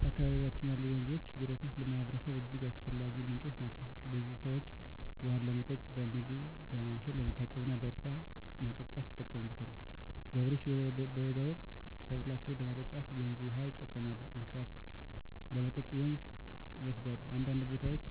በአካባቢያችን ያሉ ወንዞችና ጅረቶች ለማህበረሰቡ እጅግ አስፈላጊ ምንጮች ናቸው። ብዙ ሰዎች ውሃውን ለመጠጥ፣ ለምግብ ማብሰል፣ ለመታጠብ እና ለእርሻ ማጠጣት ይጠቀሙበታል። ገበሬዎች በበጋ ወቅት ሰብላቸውን ለማጠጣት ወንዝ ውሃ ይጠቀማሉ፣ እንስሳትም ለመጠጥ ወደ ወንዝ ይወሰዳሉ። አንዳንድ ቦታዎች